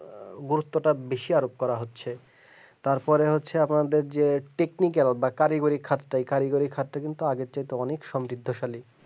গুরুত্বতা আরো বেশি করা হচ্ছে তারপর হচ্ছে যে আমাদের যে পিকু গেল বা কারিগরি খাদ কারিগরি খাড্ডা কিন্তু আগে থেকে অনেক সমৃদ্ধশালী